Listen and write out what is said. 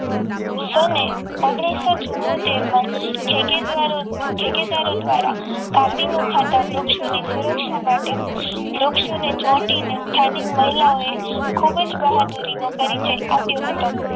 સન ઓગનીશો ચુંમોતેર માં ઠેકેદાર ઠેકેદારો દ્વારા કાપી નખાતા વૃક્ષોની સુરક્ષા માટે વૃક્ષોને ચોંટીને સ્થાનિક મહિલાઓએ ખૂબ જ બહાદુરીનો પરિચય આપ્યો હતો